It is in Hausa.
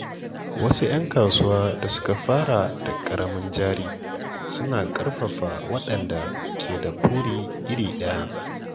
Wasu ‘yan kasuwa da suka fara da ƙaramin jari suna ƙarfafa waɗanda ke da buri iri ɗaya.